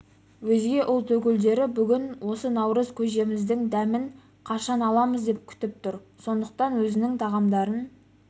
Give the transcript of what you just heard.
-өзге ұлт өкілдері бүгін осы наурыз көжеміздің дәмін қашан аламыз деп күтіп тұр сондықтан өзінің тағамдарын